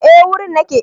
Eh wurin nake